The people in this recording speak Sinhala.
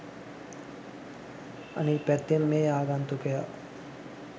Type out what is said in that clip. අනික් පැත්තෙන් මේ ආගන්තුකයා